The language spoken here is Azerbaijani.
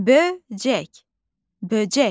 Böcək, böcək.